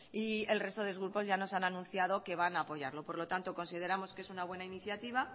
y el resto de grupos ya nos han anunciado que van a apoyarlo por lo tanto consideramos que es una buena iniciativa